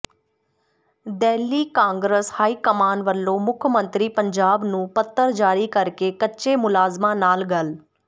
Delhi Congress high command ਵੱਲੋਂ ਮੁੱਖ ਮੰਤਰੀ ਪੰਜਾਬ ਨੂੰ ਪੱਤਰ ਜ਼ਾਰੀ ਕਰਕੇ ਕੱਚੇ ਮੁਲਾਜ਼ਮਾਂ ਨਾਲ ਗੱਲ